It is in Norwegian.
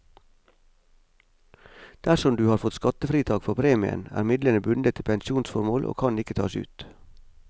Dersom du har fått skattefritak for premien, er midlene bundet til pensjonsformål og kan ikke tas ut.